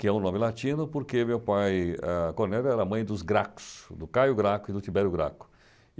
que é um nome latino porque meu pai, Cornélia, ah era mãe dos Gracos, do Caio Graco e do Tiberio Graco.